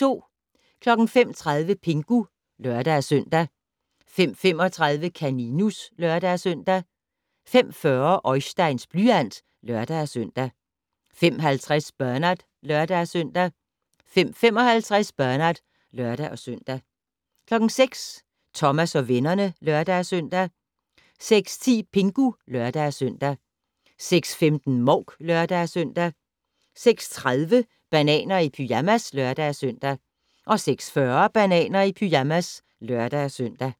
05:30: Pingu (lør-søn) 05:35: Kaninus (lør-søn) 05:40: Oisteins blyant (lør-søn) 05:50: Bernard (lør-søn) 05:55: Bernard (lør-søn) 06:00: Thomas og vennerne (lør-søn) 06:10: Pingu (lør-søn) 06:15: Mouk (lør-søn) 06:30: Bananer i pyjamas (lør-søn) 06:40: Bananer i pyjamas (lør-søn)